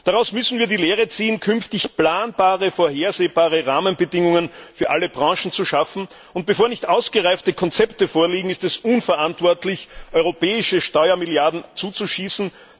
Daraus müssen wir die Lehre ziehen, künftig planbare, vorhersehbare Rahmenbedingungen für alle Branchen zu schaffen, und bevor nicht ausgereifte Konzepte vorliegen, ist es unverantwortlich, europäische Steuermilliarden zuzuschießen.